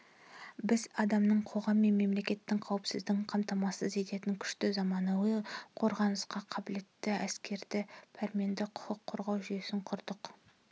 біз адамның қоғам мен мемлекеттің қауіпсіздігін қамтамасыз ететін күшті заманауи қорғанысқа қабілетті әскерді пәрменді құқық қорғау жүйесін құрдық